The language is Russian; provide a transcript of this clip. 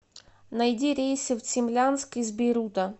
найди рейсы в цимлянск из бейрута